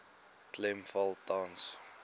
klem val tans